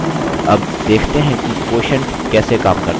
अब देखते हैं कि quotient कैसे काम करता है